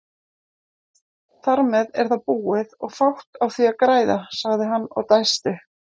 Þarmeð er það búið og fátt á því að græða, sagði hann og dæsti.